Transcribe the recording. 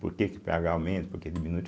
Por que que pêagá aumenta, por que diminui?